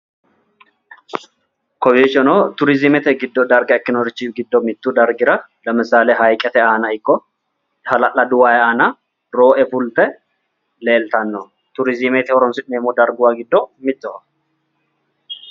Kowiichono tourismete gido darga ikinorichi gido mitu dargira lawishaho garbu aanna ikko halalladu wayi aanna roo'e fulte leeltano tourismete horoonsi'neemo darguwa gido mittoho.